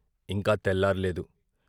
ఇంకా తెల్లార్లేదు.